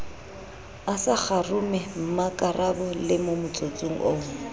a sa kgarumemmakarabelo motsotsong oo